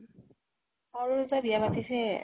সৰু কেইটা য়ে বিয়া পাতিছে